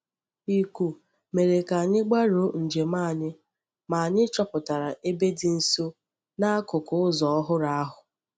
Íkú mere ka anyị gbarụọ njem anyị, ma anyị chọpụtara ebe dị nsọ n’akụkụ ụzọ ọhụrụ ahụ.